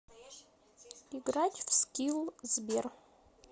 играть в скилл сбер